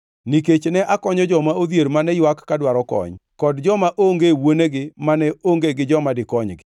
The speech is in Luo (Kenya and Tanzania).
nikech ne akonyo joma odhier mane ywak ka dwaro kony, kod joma onge wuonegi mane onge gi joma dikonygi.